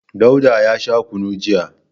Dauda ya sha kunu jiya.